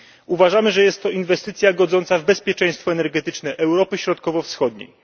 Uważamy, że jest to inwestycja godząca w bezpieczeństwo energetyczne Europy Środkowo Wschodniej.